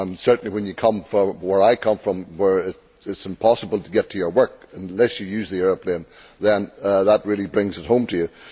Certainly when you come from where I come from, where it is impossible to get to your work unless you use the aeroplane, then that really brings it home to you.